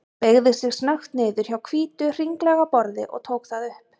Beygði sig snöggt niður hjá hvítu, hringlaga borði og tók það upp.